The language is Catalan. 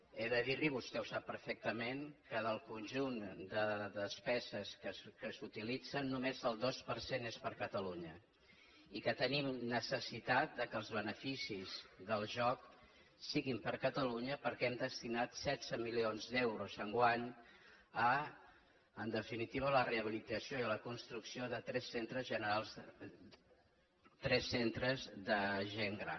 he de dir li vostè ho sap perfectament que del conjunt de despeses que s’utilitzen només el dos per cent és per a catalunya i que tenim necessitat que els beneficis del joc siguin per a catalunya perquè hem destinat setze milions d’euros enguany a en definitiva la rehabilitació i a la construcció de tres centres de gent gran